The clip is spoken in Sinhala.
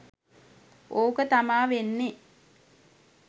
ඕක තමා වෙන්නේ